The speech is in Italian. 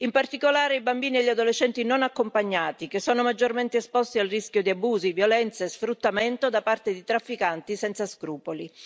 in particolare, i bambini e gli adolescenti non accompagnati, che sono maggiormente esposti al rischio di abusi, violenze e sfruttamento da parte di trafficanti senza scrupoli.